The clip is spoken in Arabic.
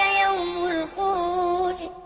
يَوْمُ الْخُرُوجِ